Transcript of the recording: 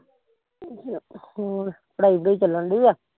ਹੋਰ ਪੜਾਈ ਪੁੜਾਈ ਚੱਲ ਡਈ ਆ